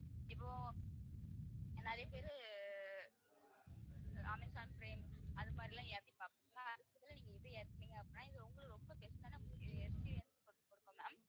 இப்போ நிறைய பேரு அஹ் அமேசான் prime அது மாதிரி எல்லாம் ஏத்தி பார்ப்பாங்க, ஆனா நீங்க இதை ஏத்துனீங்க அப்படின்னா இது உங்களுக்கு ரொம்ப best ஆன ma'am